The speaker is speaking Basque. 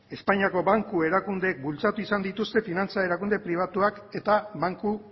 espainiako banku erakunde bultzatu izan dituzte finantza erakunde pribatuak eta banku